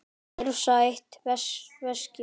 Hrifsa eitt veskið.